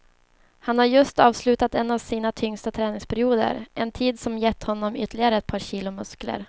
Han har just avslutat en av sina tyngsta träningsperioder, en tid som gett honom ytterligare ett par kilo muskler.